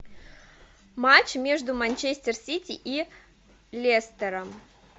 матч между манчестер сити и лестером